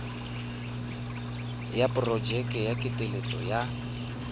ya porojeke ya ketleetso ya